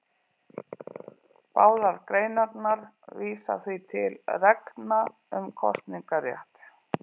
Báðar greinarnar vísa því til reglna um kosningarétt.